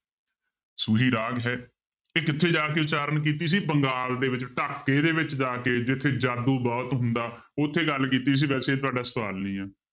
ਸੂਹੀ ਰਾਗ ਹੈ ਇਹ ਕਿੱਥੇ ਜਾ ਕੇ ਉਚਾਰਨ ਕੀਤੀ ਸੀ ਬੰਗਾਲ ਦੇ ਵਿੱਚ ਢਾਕੇ ਦੇ ਵਿੱਚ ਜਾ ਕੇ ਜਿੱਥੇ ਜਾਦੂ ਬਹੁਤ ਹੁੰਦਾ ਉੱਥੇ ਗੱਲ ਕੀਤੀ ਸੀ ਵੈਸੇ ਇਹ ਤੁਹਾਡਾ ਸਵਾਲ ਨਹੀਂ ਹੈ